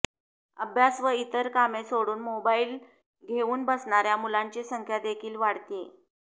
अभ्यास व इतर कामे सोडून मोबाईल घेऊन बसणार्या मुलांची संख्या देखील वाढतेय